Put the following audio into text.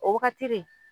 O wagati de